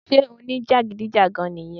sé o ní jàgídíjàgan nì yẹn?